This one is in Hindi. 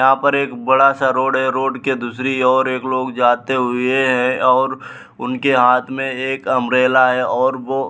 यहाँ पर एक बड़ा-सा रोड है रोड के दूसरी ओर एक लोग जाते हुए और उनके हाथ में एक अम्ब्रेला है और वो --